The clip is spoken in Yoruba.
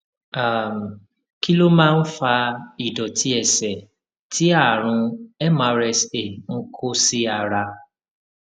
um kí ló máa ń fa ìdòtí ẹsè tí àrùn mrsa ń kó sí ara